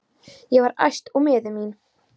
Ég var æst og miður mín.